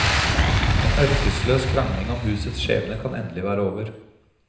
En ørkesløs krangling om husets skjebne kan endelig være over.